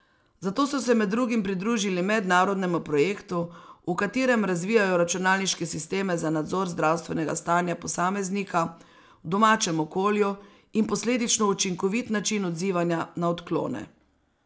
Zato so se med drugim pridružili mednarodnemu projektu, v katerem razvijajo računalniške sisteme za nadzor zdravstvenega stanja posameznika v domačem okolju in posledično učinkovit način odzivanja na odklone.